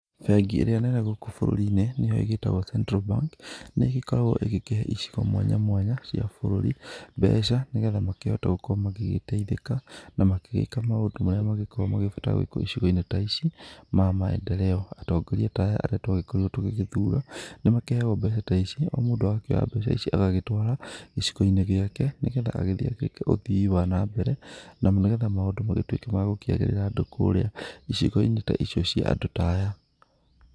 Bengi ĩrĩa nene gũkũ bũrũrinĩ, nĩo ĩgĩtagwo Central Bank, nĩgĩkoragwo ĩgĩkĩhe icigo mwanya mwanya cia bũrũri mbeca, nĩgetha makĩhote gũkorwo magĩgĩteithika. Na makĩgĩka maũndũ marĩa magĩkoragwo magĩbatara gwikwo icigo-inĩ ta ici ma maendeleo. Atongoria ta aya arĩa twagĩkorirwo tũgĩthura, nĩmakĩheagwo mbeca ta ici, o mũndũ agakĩoya mbeca ici agagĩtwara gĩcigo-inĩ gĩake, nĩgetha agĩthiĩ agĩke ũthii wa na mbere, na nĩgetha maũndũ magĩtuĩke ma gũkĩagĩrĩra andũ kũrĩa icigo-inĩ ta icio cia andũ ta aya.